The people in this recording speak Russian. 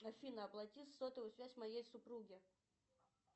афина оплати сотовую связь моей супруги